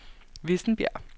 Vissenbjerg